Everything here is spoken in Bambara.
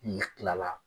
N'i kilala